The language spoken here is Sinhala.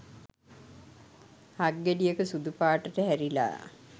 හක් ගෙඩියක සුදු පාටට හැරිලා.